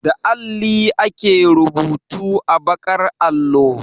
Da alli ake rubutu a baƙar allo.